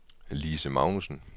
Lise Magnussen